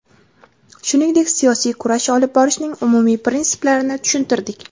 Shuningdek, siyosiy kurash olib borishning umumiy prinsiplarini tushuntirdik.